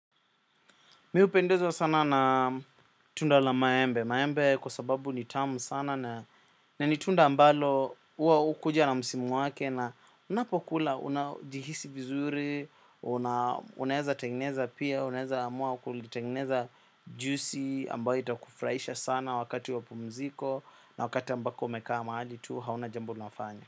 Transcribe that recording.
Mi hupendezwa sana na tunda la maembe. Maembe kwa sababu ni tamu sana na ni tunda ambalo huwa hukuja na msimu wake na unapokula unajihisi vizuri, unaeza tengeneza pia, unaeza amua kulitengeneza juisi ambayo itakufurahisha sana wakati wa pumziko na wakati ambako umekaa mahali tu hauna jambo unafanya.